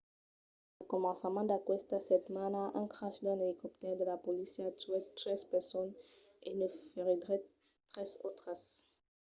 al començament d'aquesta setmana un crash d'un elicoptèr de la polícia tuèt tres personas e ne feriguèt tres autras